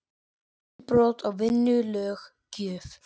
Ekki brot á vinnulöggjöf